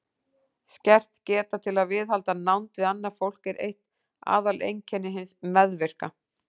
Skert geta til að viðhalda nánd við annað fólk er eitt aðaleinkenni hins meðvirka.